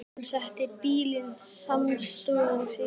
Hann setti bílinn samstundis í gang.